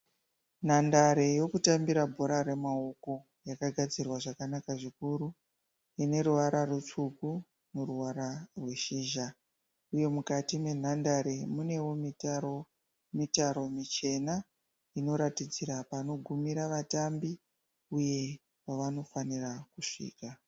Nhandara yokutambira bhora remaoko yakagadzirwa zvakanaka zvikuru ineruvara rutsvuku noruvara rweshizha. Uye mukati menhandare munewo mitaro-mitaro michena inoratidzira panogumira vatambi uye pavanofanira kusvika.